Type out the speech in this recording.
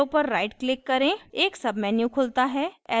arrow पर right click करें एक sub menu खुलता है